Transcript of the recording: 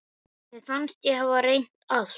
Mér fannst ég hafa reynt allt.